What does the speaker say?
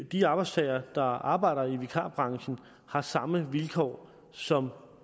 de arbejdstagere der arbejder i vikarbranchen har samme vilkår som